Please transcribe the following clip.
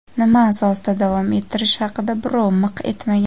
nima asosida davom ettirish haqida birov miq etmagan.